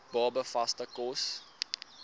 baba vaste kos